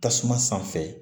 Tasuma sanfɛ